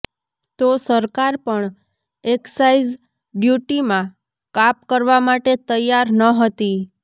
તો સરકાર પણ એક્સાઇઝ ડ્યૂટીમાં કાપ કરવા માટે તૈયાર નહતી